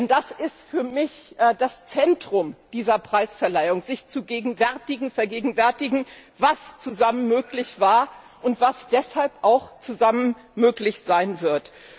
Denn das ist für mich der Brennpunkt dieser Preisverleihung, sich zu vergegenwärtigen, was zusammen möglich war und was deshalb auch zusammen möglich sein wird.